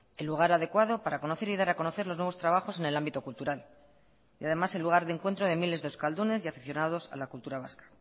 el lugar adecuado para conocer y dar a conocer los nuevos trabajos en el ámbito cultural y además el lugar de encuentro de miles de euskaldunes y aficionados a la cultura vasca